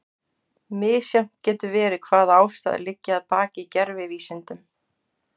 Misjafnt getur verið hvaða ástæður liggja að baki gervivísindum.